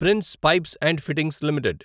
prince Pipes and Fittings limited